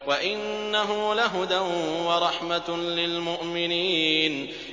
وَإِنَّهُ لَهُدًى وَرَحْمَةٌ لِّلْمُؤْمِنِينَ